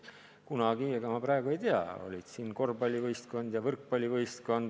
Kunagi olid siin korvpallivõistkond ja võrkpallivõistkond.